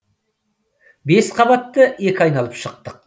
бес қабатты екі айналып шықтық